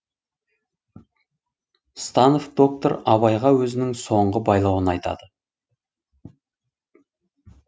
станов доктор абайға өзінің соңғы байлауын айтады